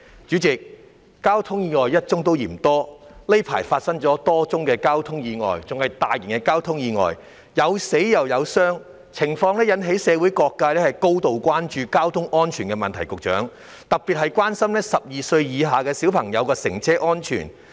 主席，交通意外一宗也嫌多，而近期發生的多宗交通意外，均屬涉及傷亡的大型交通意外，因而引起社會各界高度關注交通安全的問題，尤其是12歲以下兒童的乘車安全。